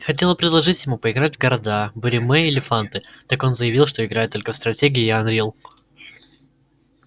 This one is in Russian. хотела предложить ему поиграть в города буриме или фанты так он заявил что играет только в стратегии и анрил